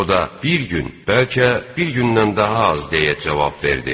O da: Bir gün, bəlkə bir gündən daha az, deyə cavab verdi.